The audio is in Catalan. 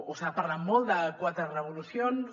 s’ha parlat molt de quatre revolucions